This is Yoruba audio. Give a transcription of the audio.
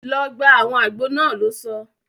Lọ gba awọn àgbo náà! lò sọ